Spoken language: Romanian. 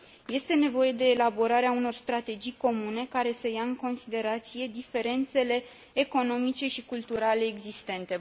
Este nevoie de elaborarea unor strategii comune, care să ia în considerație diferențele economice și culturale existente.